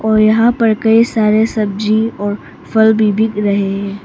और यहां पर कई सारे सब्जी और फल भी बिक रहे हैं।